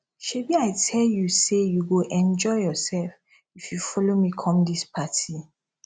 shebi i tell you say you go enjoy yourself if you follow me come dis party